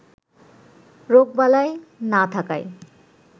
রোগবালাই না থাকায়